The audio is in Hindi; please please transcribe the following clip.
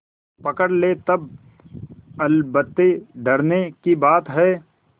पकड़ ले तब अलबत्ते डरने की बात है